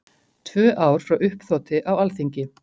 Tvö ár frá uppþoti á Alþingi